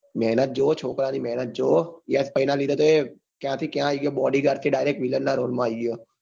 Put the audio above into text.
મેહનત જોવો મેહનત એ છોકરાની તમે યશભાઈના લીધે તો કલ્યાથી ક્યાં આવી ગયો. bodyguard માંથી લઈને direct villain ના role આવી ગયો.